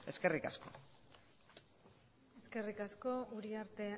eskerrik asko eskerrik asko uriarte